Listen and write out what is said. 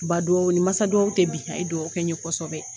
Ba duawu ni masa duawu te bi a ye duawu kɛ ye kosɛbɛ